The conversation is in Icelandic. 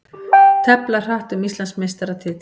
Tefla hratt um Íslandsmeistaratitil